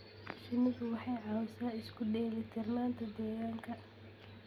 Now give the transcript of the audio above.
Shinnidu waxay caawisaa isu dheelitirnaanta deegaanka.